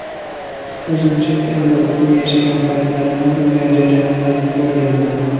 O‘zim chet elda o‘qib, yashagan paytlarimda bunday jarayonlarni ko‘rganman.